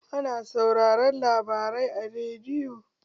Ana sauraron labarai a rediyo